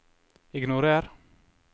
ignorer